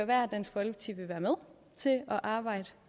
være at dansk folkeparti vil være med til at arbejde